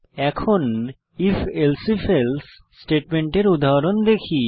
এখন if elsif else স্টেটমেন্টের উদাহরণ দেখি